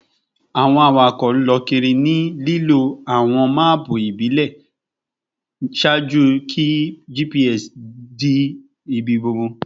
Awọn awakọ lọ kiri ni lilo awọn maapu ibile ṣaaju ki GPS di ibigbogbo